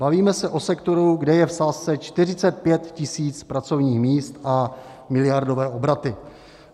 Bavíme se o sektoru, kde je v sázce 45 tisíc pracovních míst a miliardové obraty.